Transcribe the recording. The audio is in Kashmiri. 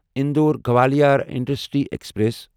Indore Gwalior intercity express